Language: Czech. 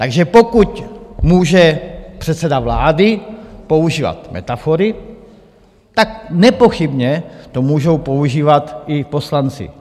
Takže pokud může předseda vlády používat metafory, tak nepochybně to můžou používat i poslanci.